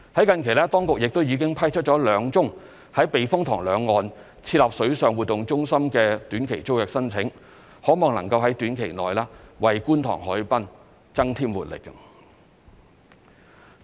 近期，當局亦已批出兩宗於避風塘兩岸設立水上活動中心的短期租約申請，可望能夠於短期內為觀塘海濱增添活力。